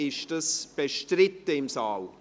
Ist das bestritten im Saal?